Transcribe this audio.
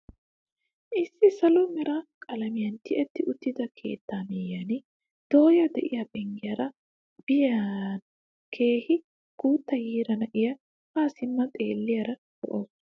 Issi salo mera qalamiyaan tiyetti uttida keettaa myiyaan dooya de'iyaa penggiyaara bariyaan keehi guutta yiira naa'ay haa simmidi xeelliyaagee lo"ees!